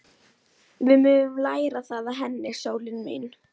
Við megum læra það af henni, sólin mín.